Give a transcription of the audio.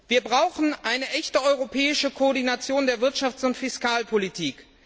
Wir brauchen eine echte europäische Koordination der Wirtschafts und Fiskalpolitik.